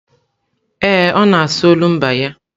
Ee, ọ na-asụ olumba ya.